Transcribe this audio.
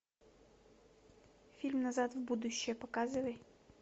фильм назад в будущее показывай